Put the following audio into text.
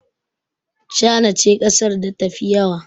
China ce ƙasar da ta fi yawa